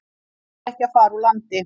Fær ekki að fara úr landi